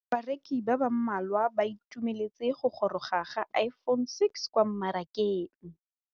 Bareki ba ba malwa ba ituemeletse go gôrôga ga Iphone6 kwa mmarakeng.